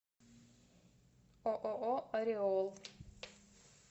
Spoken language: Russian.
ооо ореол